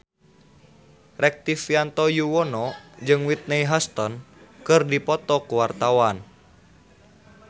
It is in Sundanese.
Rektivianto Yoewono jeung Whitney Houston keur dipoto ku wartawan